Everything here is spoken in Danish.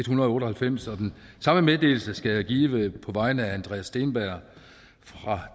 hundrede og otte og halvfems og den samme meddelelse skal jeg give på vegne af andreas steenberg fra